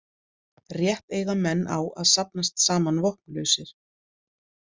Rétt eiga menn á að safnast saman vopnlausir.